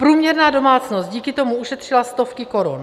Průměrná domácnost díky tomu ušetřila stovky korun.